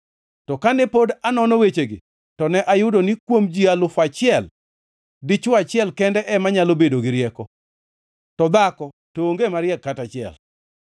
to kane pod anono wechegi, to ne ayudo ni kuom ji alufu achiel, dichwo achiel kende ema nyalo bedo gi rieko, to dhako to onge mariek kata achiel.